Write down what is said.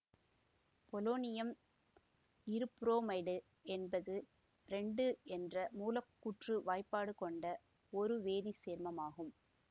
polonium இருபுரோமைடு என்பது ரேண்டு என்ற மூலக்கூற்று வாய்பாடு கொண்ட ஒரு வேதி சேர்மம் ஆகும்